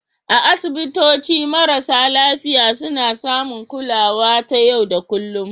A asibitoci, marasa lafiya suna samun kulawa ta yau da kullun